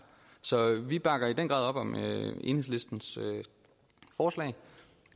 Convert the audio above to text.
så vi bakker i den grad op om enhedslistens forslag